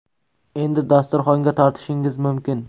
Endi dasturxonga tortishingiz mumkin.